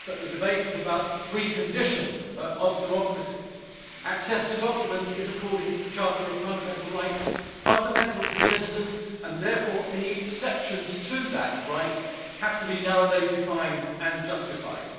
The debate is about the pre condition of democracy access to documents is, according to the Charter of Fundamental Rights, fundamental to citizens and therefore any exceptions to that right have to be narrowly defined and justified.